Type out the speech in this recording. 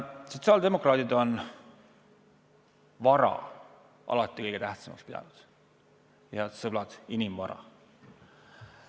Sotsiaaldemokraadid on vara alati kõige tähtsamaks pidanud, head sõbrad, inimvara.